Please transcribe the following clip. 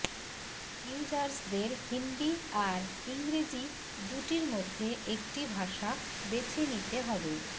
ইউজার্সদের হিন্দি আর ইংরেজি দুটির মধ্যে একটি ভাষা বেছেনিতে হবে